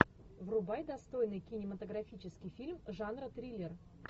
врубай достойный кинематографический фильм жанра триллер